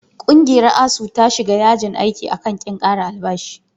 Ƙungiyar ASUU ta shiga yajin aiki a kan ƙin ƙara albashi.